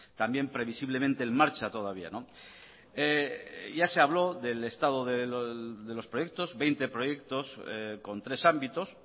también previsiblemente en marcha todavía ya se habló del estado de los proyectos veinte proyectos con tres ámbitos